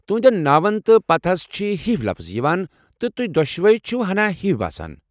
تُہنٛدین ناون تہٕ پتاہس چھِ ہِوۍ لفظ یوان ، تہٕ تُہۍ دۄشوے چھِو ہنا ہِوۍ باسان۔